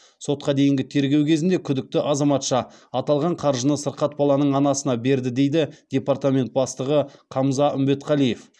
сотқа дейінгі тергеу кезінде күдікті азаматша аталған қаржыны сырқат баланың анасына берді дейді департамент бастығы қамза үмбетқалиев